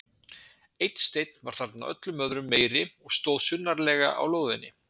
Einn steinn var þarna öllum öðrum meiri og stóð sunnarlega á lóðinni.